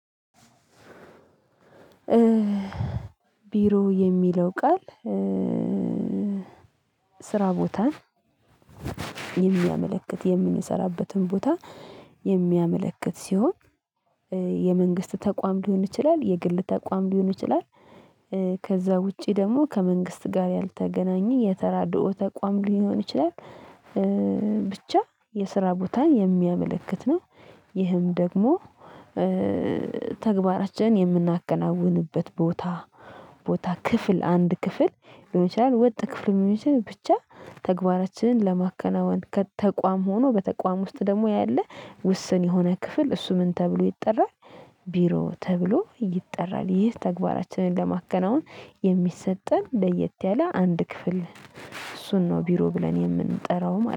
ቢሮ የሚለው ቃል ስራ ቦታ የሚያመለክት የምንሰራበትን ቦታ የሚያመለክት ሲሆን የመንግስት ተቋም ሊሆን ይችላል የግል ተቋም ሊሆን ይችላል ከዛ ውጪ ደግሞ ከመንግስት ጋር ያልተገናኘ የተራድኦ ተቋም ሊሆን ይችላል ብቻ የስራ ቦታን የሚያመለክት ነው። ይህም ደግሞ ተግባራችንን የምናከናውንበት ቦታ ቦታ ክፍል አንድ ክፍል ሊሆን ይችላል ወጥ ክፍል የሚሆን ብቻ ተግባራችንን ለማከናወን ከተቋም ሆኖ በተቋም ውስጥ ደግሞ ያለ ውስን የሆነ ክፍል እሱ ምን ተብሎ ይጠራል? ቢሮ ተብሎ ይጠራል። ይህ ተግባራችንን ለማከናወን የሚሰጠን ለየት ያለ አንድ ክፍል እሱን ነው ቢሮ ብለን የምንጠራው